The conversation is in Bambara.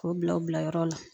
K'o bila u bila yɔrɔ la